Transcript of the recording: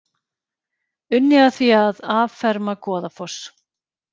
Unnið að því að afferma Goðafoss